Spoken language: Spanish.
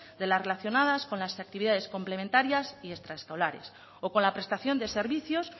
de las relacionadas con las actividades complementarias y extraescolares o con la prestación de servicios